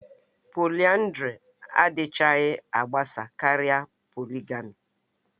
Polịyandari adịchaghị agbasa karịa poligamì